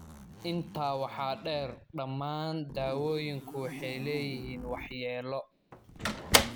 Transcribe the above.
Intaa waxaa dheer, dhammaan daawooyinka waxay leeyihiin waxyeelo.